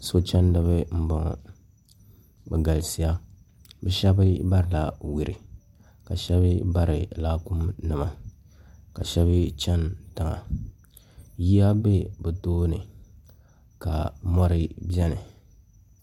sochɛniba n bɔŋɔ be galisiya be shɛbi barila yuri ka shɛbi bari laakum nima ka shɛbi chɛni tiŋa yiya bɛ bi tuuni ka mori bɛni